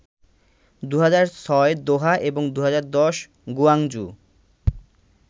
২০০৬ Doha এবং ২০১০ Guangzhou